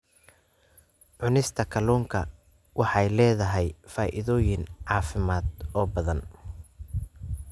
Cunista kalluunka waxay leedahay faa'iidooyin caafimaad oo badan.